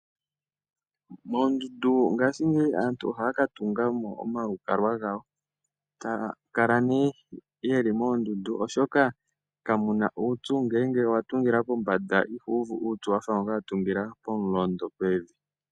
Moondundu ngaashingeyi aantu ohaa ka tunga mo omalukalwa gawo taa kala nee yeli moondundu, oshoka kamu na uupyu ngele owa tungila pombanda ihu uvu uupyu wa fa ngoka a tungila komulondo pevi.